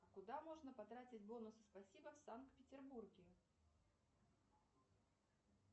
куда можно потратить бонусы спасибо в санкт петербурге